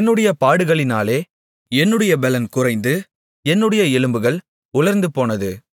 என்னுடைய பாடுகளினாலே என்னுடைய பெலன் குறைந்து என்னுடைய எலும்புகள் உலர்ந்துபோனது